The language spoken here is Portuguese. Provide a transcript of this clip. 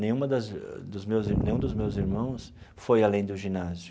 Nenhuma das dos meus nenhum dos irmãos foi além do ginásio.